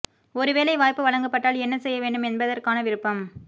ஒரு வேலை வாய்ப்பு வழங்கப்பட்டால் என்ன செய்ய வேண்டும் என்பதற்கான விருப்பம்